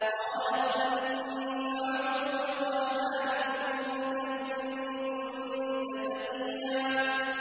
قَالَتْ إِنِّي أَعُوذُ بِالرَّحْمَٰنِ مِنكَ إِن كُنتَ تَقِيًّا